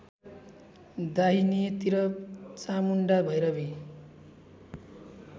दाहिनेतिर Chamunda Bhairavi